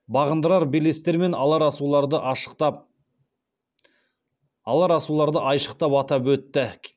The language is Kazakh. бағындырар белестер мен алар асуларды айшықтап атап өтті